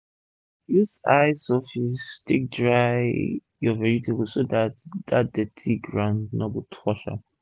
use high surface take dry ur vegetable so dat dirty for ground no go touch am